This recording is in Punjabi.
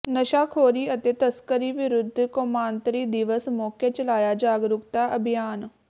ਨਸ਼ਾਖੋਰੀ ਅਤੇ ਤਸਕਰੀ ਵਿਰੁੱਧ ਕੌਮਾਂਤਰੀ ਦਿਵਸ ਮੌਕੇ ਚਲਾਇਆ ਜਾਗਰੂਕਤਾ ਅਭਿਆਨ